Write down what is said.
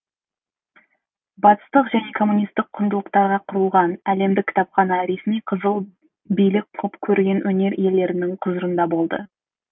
батыстық және коммунистік құндылықтарға құрылған әлемдік кітапхана ресми қызыл билік құп көрген өнер иелерінің құзырында болды